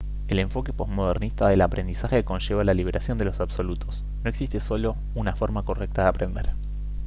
el enfoque posmodernista del aprendizaje conlleva la liberación de los absolutos no existe solo una forma correcta de aprender